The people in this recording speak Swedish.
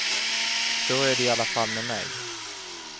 Så är det iallafall med mig.